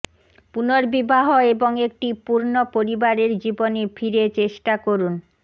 পুনর্বিবাহ এবং একটি পূর্ণ পরিবারের জীবনে ফিরে চেষ্টা করুন